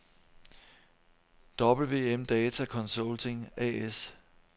WM-Data Consulting A/S